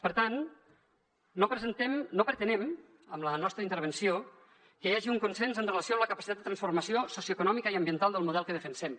per tant no pretenem amb la nostra intervenció que hi hagi un consens amb relació a la capacitat de transformació socioeconòmica i ambiental del model que defensem